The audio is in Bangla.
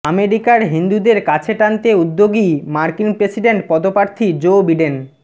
আমেরিকার হিন্দুদের কাছে টানতে উদ্যোগী মার্কিন প্রেসিডেন্ট পদপ্রার্থী জো বিডেন